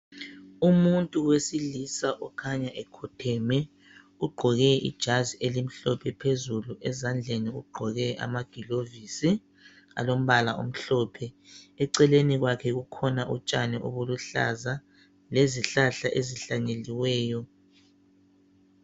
Umuntu wesilisa okhanya ekhotheme, ugqoke ijazi elimhlophe phezulu ezandleni ugqoke amagilovisi alombala omhlophe. Eceleni kwakhe kukhona utshani lezihlahla ezihlanyeliweyo.